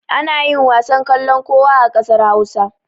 Ana yin wasan kallon kowa a ƙasar Hausa.